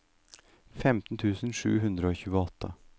femten tusen sju hundre og tjueåtte